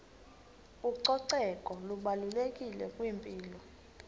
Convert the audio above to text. ucoceko lubalulekile kwimpilo